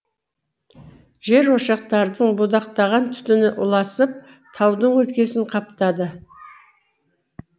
жерошақтардың будақтаған түтіні ұласып таудың өлкесін қаптады